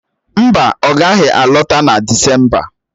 Mba, ọ gaghị alọta na Disemba